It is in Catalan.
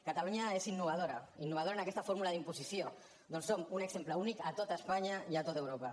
catalunya és innovadora innovadora en aquesta fórmula d’imposició ja que som un exemple únic a tot espanya i a tot europa